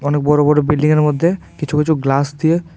অনেক বড় বড় বিল্ডিংয়ের মধ্যে কিছু কিছু গ্লাস দিয়ে--